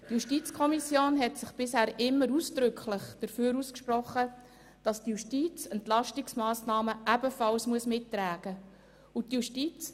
Die JuKo hat sich bisher immer ausdrücklich dafür ausgesprochen, dass die Justiz Entlastungsmassnahmen ebenfalls mittragen muss.